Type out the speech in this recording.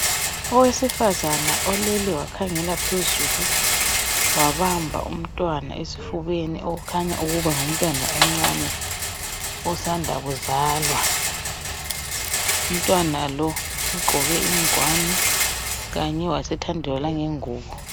Owesifazana olele wakhengela phezulu wabamba umntwana esifubeni okukhanya ukuba ngumntwana omncane osanda kuzalwa. Umntwana lo ugqoke ingwane Kanye wasethandelwa langengubo.